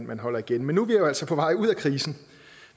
man holder igen men nu er vi altså på vej ud af krisen